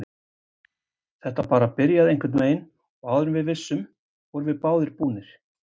Þetta bara byrjaði einhvernveginn og áður en við vissum vorum við báðir búnir.